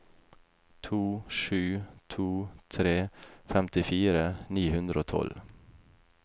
to sju to tre femtifire ni hundre og tolv